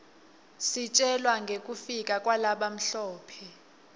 isitjela ngekufika kwalabamhlope